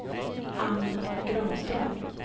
Anne Granström